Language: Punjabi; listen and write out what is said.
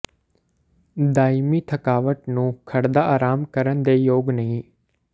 ਦਾਇਮੀ ਥਕਾਵਟ ਨੂੰ ਖੜਦਾ ਆਰਾਮ ਕਰਨ ਦੇ ਯੋਗ ਨਹੀ